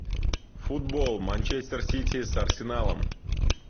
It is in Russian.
футбол манчестер сити с арсеналом